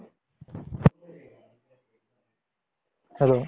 hello